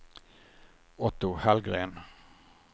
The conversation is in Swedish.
Otto Hallgren